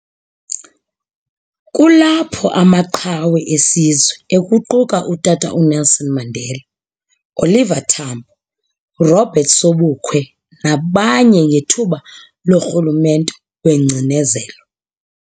Kulapho amaqhawe esizwe ekuquka utata uNelson Mandela, Oliver Tambo, Robert Sobukwe nabanye ngethuba loRhulumente wengcinezelo.